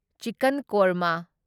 chicken ꯀꯣꯔꯃ